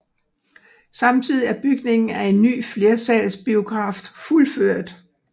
Samtidig er bygningen af en ny flersalsbiograf fuldført